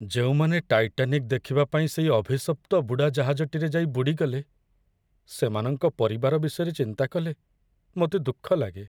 ଯେଉଁମାନେ ଟାଇଟାନିକ୍ ଦେଖିବା ପାଇଁ ସେଇ ଅଭିଶପ୍ତ ବୁଡ଼ାଜାହାଜଟିରେ ଯାଇ ବୁଡ଼ିଗଲେ, ସେମାନଙ୍କ ପରିବାର ବିଷୟରେ ଚିନ୍ତା କଲେ ମୋତେ ଦୁଃଖ ଲାଗେ।